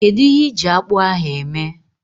Kedu ihe ịji akpu ahu eme?